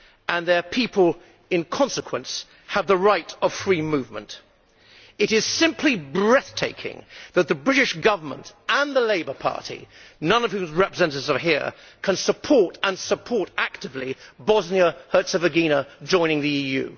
and their people in consequence have the right of free movement. It is simply breathtaking that the British Government and the Labour Party, none of whose representatives are here, can support and support actively Bosnia Herzegovina joining the EU.